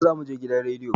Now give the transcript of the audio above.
Yau zamuje gidan radiyo